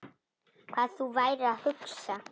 Hvað þú værir að hugsa.